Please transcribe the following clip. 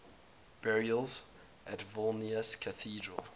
burials at vilnius cathedral